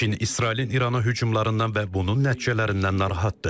Çin İsrailin İrana hücumlarından və bunun nəticələrindən narahatdır.